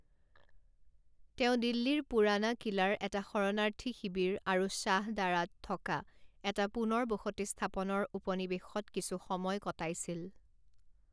তেওঁ দিল্লীৰ পুৰাণা কিলাৰ এটা শৰণাৰ্থী শিবিৰ আৰু শ্বাহদাৰাত থকা এটা পুনৰ বসতি স্থাপনৰ উপনিৱেশত কিছু সময় কটাইছিল।